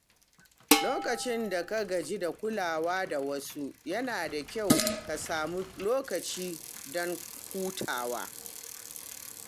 Lokacin da ka gaji da kulawa da wasu, yana da kyau ka sami lokaci don hutawa.